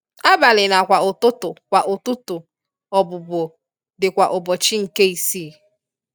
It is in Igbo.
Abali na kwa ụtụtụ kwa ụtụtụ obubo di kwa ubochi nke isi.